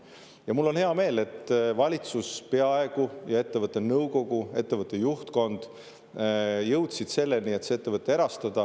Ja mul on hea meel, et valitsus ja ettevõtte nõukogu, ettevõtte juhtkond peaaegu jõudsid selleni, et see ettevõte erastada.